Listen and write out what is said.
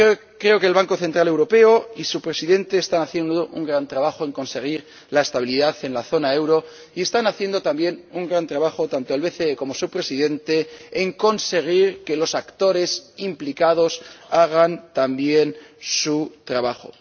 Creo que el Banco Central Europeo y su Presidente están haciendo un gran trabajo en conseguir la estabilidad en la zona del euro y están haciendo también un gran trabajo tanto el BCE como su Presidente en conseguir que los actores implicados hagan también su trabajo.